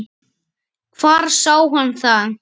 Hvar sá hann það?